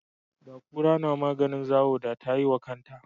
Da kura namaganin zawo da ta yi wa kanta